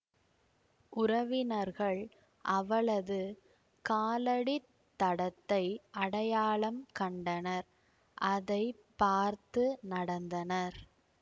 உறவினர்கள் அவளது காலடி தடத்தை அடையாளம் கண்டனர் அதை பார்த்து நடந்தனர்